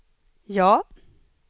ja